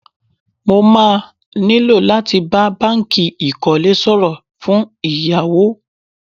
Mo má nílò láti bá báńkì ìkólé sọ̀rọ̀ fún ìyáwó.